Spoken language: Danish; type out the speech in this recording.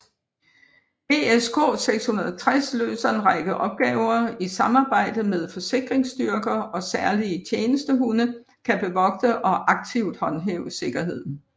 ESK 660 løser en række opgaver i samarbejde med sikringsstyrker og særlige tjenestehunde kan bevogte og aktivt håndhæve sikkerheden